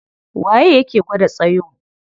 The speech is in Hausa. Waye yake gwada tsayo?